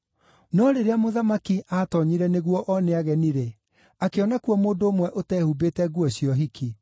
“No rĩrĩa mũthamaki aatoonyire nĩguo one ageni-rĩ, akĩona kuo mũndũ ũmwe ũtehumbĩte nguo cia ũhiki.